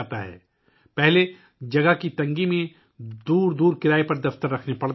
اس سے قبل جگہ کی کمی کی وجہ سے دور دراز مقامات پر دفاتر کرائے پر رکھنے پڑتے تھے